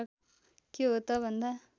के हो त भन्दा